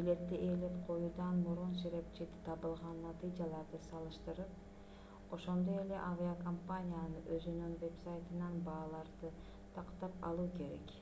билетти ээлеп коюудан мурун серепчиде табылган натыйжаларды салыштырып ошондой эле авиакомпаниянын өзүнүн вебсайтынан бааларды тактап алуу керек